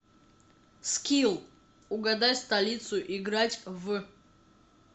скилл угадай столицу играть в